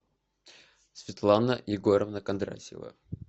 светлана егоровна кондратьева